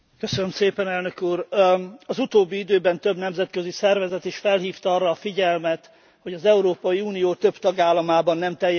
Az utóbbi időben több nemzetközi szervezet is felhívta arra a figyelmet, hogy az Európai Unió több tagállamában nem teljes körű a média szabadsága.